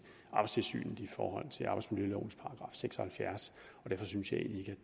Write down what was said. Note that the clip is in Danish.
arbejdstilsynet i forhold til arbejdsmiljølovens § seks og halvfjerds og derfor synes jeg egentlig